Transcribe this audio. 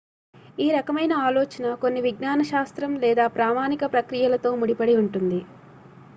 ఈ రకమైన ఆలోచన కొన్ని విజ్ఞాన శాస్త్రం లేదా ప్రామాణిక ప్రక్రియలతో ముడిపడి ఉంటుంది